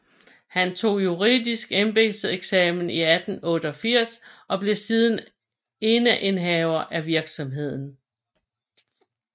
Han tog juridsk embedseksamen i 1888 og blev siden eneindehaver af virksomheden